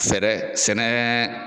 Sɛrɛ sɛnɛɛ